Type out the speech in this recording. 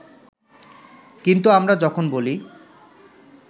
কিন্তু আমরা যখন বলি